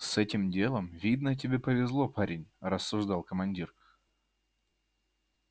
с этим делом видно тебе повезло парень рассуждал командир